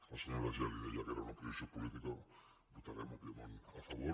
la senyora geli deia que era una posició política hi votarem òbviament a favor